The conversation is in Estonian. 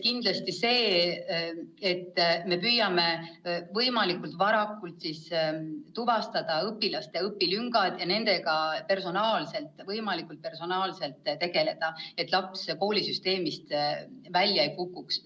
" Kõigepealt, me püüame võimalikult varakult tuvastada õpilaste õpilüngad ja nendega võimalikult personaalselt tegeleda, et laps koolisüsteemist välja ei kukuks.